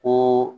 Ko